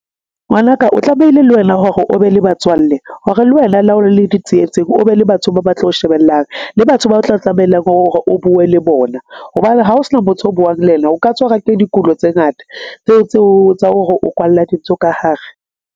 Ngwanaka o tlamehile le wena hore o be le batswalle hore le wena, le ha o le di tsietseng, o be le batho ba ba tlo o shebellang le batho ba o tla tlamelang hore o bue le bona. Hobane ha o sena motho o buang le ena, o ka tswa ra ke dikulo tse ngata tseo tsa hore o kwalla dintho ka hare.